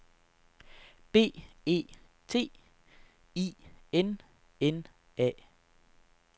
B E T I N N A